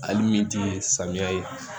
Hali min tɛ samiya ye